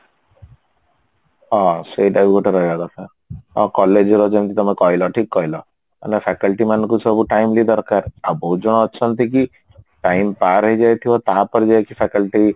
ହଁ ସେଇଟା ବି ଗୋଟେ ରହିବା କଥା ଆଉ college ରେ ଯେମତି ତମେ କହିଲ ଠିକ କହିଲ ମାନେ faculty ମାନଙ୍କୁ ସବୁ timely ଦରକାର ଆଉ ବହୁତ ଜଣ ଅଛନ୍ତି କି time ପାର ହେଇଯାଇଥିବ ତାପରେ ଯାଇକି faculty